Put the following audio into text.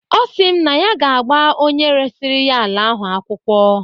Ọsị m na ya ga-agba onye resiri ya ala ahụ akwụkwọ.